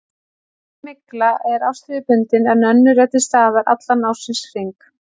Sum mygla er árstíðabundin en önnur er til staðar allan ársins hring.